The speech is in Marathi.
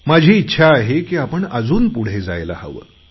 माझी इच्छा आहे की आपण अजून पुढे जायला हवं